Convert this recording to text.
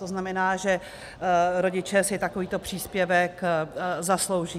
To znamená, že rodiče si takovýto příspěvek zaslouží.